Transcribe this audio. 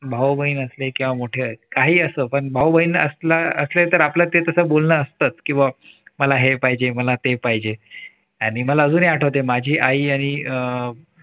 भाऊबहीण असले किंवा मोठे काही असो पण भाऊबहीण असले तर आपलं ते तस बोलणं असतंच किंवा मला हे पाहिजे मला ते पाहिजे आणि मला अजूनही आठवते माझी आई आणि अह